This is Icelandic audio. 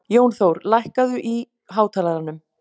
Jónþór, lækkaðu í hátalaranum.